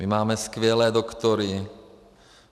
My máme skvělé doktory.